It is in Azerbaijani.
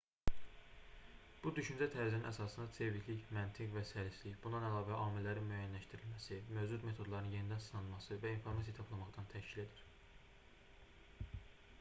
bu düşüncə tərzinin əsasını çeviklik məntiq və səlistlik bundan əlavə amillərin müəyyənləşdirilməsi mövcud metodların yenidən sınanması və informasiya toplamaqdan təşkil edir